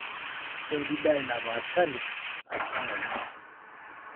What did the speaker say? keudi dye napashari atua ngonyo.